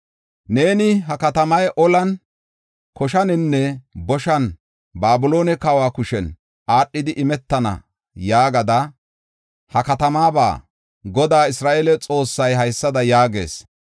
“Neeni, ‘Ha katamay olan, koshaninne boshan Babiloone kawa kushen aadhidi imetana’ yaagida ha katamaaba Goday Isra7eele Xoossay haysada yaagees.